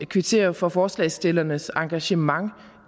kvittere for forslagsstillernes engagement